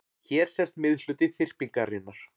Hér sést miðhluti þyrpingarinnar.